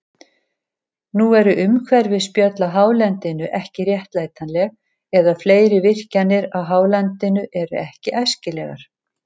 Nú eru umhverfisspjöll á hálendinu ekki réttlætanleg, eða fleiri virkjanir á hálendinu eru ekki æskilegar.